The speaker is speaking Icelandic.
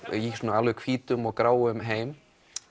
alveg í hvítum og gráum heim